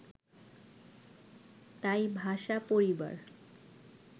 তাই ভাষাপরিবার